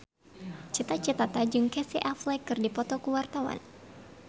Cita Citata jeung Casey Affleck keur dipoto ku wartawan